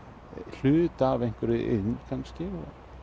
hluta af einhverri iðn kannski